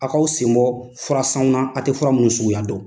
A kaw sen bɔ fura sanw na a tɛ fura mun suguya dɔn.